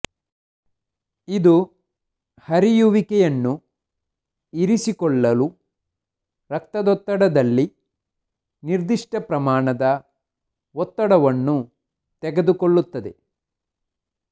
ಇದು ಹರಿಯುವಿಕೆಯನ್ನು ಇರಿಸಿಕೊಳ್ಳಲು ರಕ್ತದೊತ್ತಡದಲ್ಲಿ ನಿರ್ದಿಷ್ಟ ಪ್ರಮಾಣದ ಒತ್ತಡವನ್ನು ತೆಗೆದುಕೊಳ್ಳುತ್ತದೆ